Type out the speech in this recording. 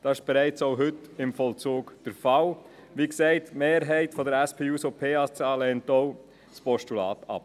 Wie gesagt, lehnt die Mehrheit der SP-JUSO-PSA auch das Postulat ab.